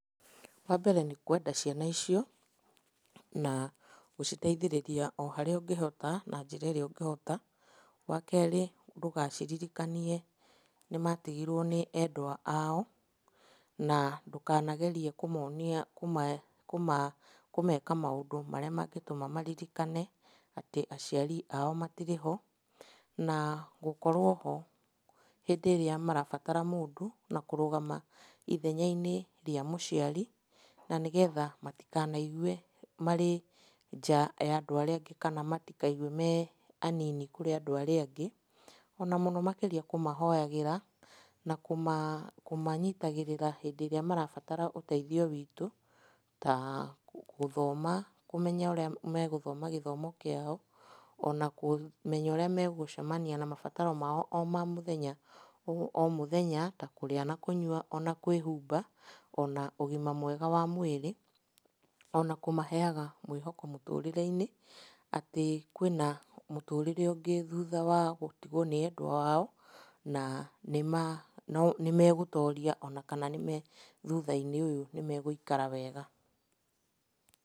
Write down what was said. Wambere nĩ kwenda ciana icio na gũciteithĩrĩria o harĩa ũgĩhota na njĩra ĩrĩa ũgĩhota. Wakerĩ ndũgaciririkanie nĩmatigirwo nĩ endwa ao, na ndũkanagerie kũmonia kũmeka maũndũ marĩa mangĩtũma maririkane atĩ aciri ao matirĩ ho. Na, gũkorwo ho hĩndĩ ĩrĩa marabatara mũndũ, na kũrũgama ithenya-inĩ rĩa mũciari na nĩgetha matikanaigue marĩ nja ya andũ ũrĩa angĩ kana matikaigue me anini kũrĩ andũ arĩa angĩ. Ona mũno makĩria kũmahoyagĩra na kũmanyitagĩrĩra hĩndĩ ĩrĩa marabatara ũteithio witũ, ta gũthoma kũmenya ũrĩa megũthoma gĩthomo kĩao, ona kũmenya ũrĩa megũcemania na mabataro mao o ma mũthenya o mũthenya, ta kũrĩa na kũnyua ona kwĩhumba, ona ũgima mwega wa mwĩrĩ, na kũmaheaga mwĩhoko mũtũrĩre-inĩ atĩ kwĩ na mũtũrĩre ũngĩ thutha wa gũtigwo nĩ endwa ao na nĩmegũtoria ona kana nĩme, thutha-inĩ ũyũ, nĩmegũikara wega.